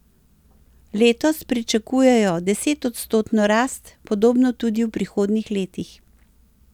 Letos pričakujejo desetodstotno rast, podobno tudi v prihodnjih letih.